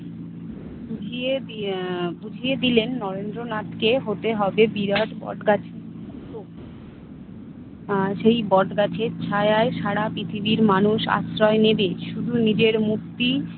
বুঝিয়ে দিয়ে আহ বুঝিয়ে দিলেন নরেন্দ্রনাথকে হতে হবে বিরাট বটগাছ। আহ সেই বটগাছের ছায়ায় সারা পৃথিবীর মানুষ আশ্রয় নিবে। শুধু নিজের মুক্তি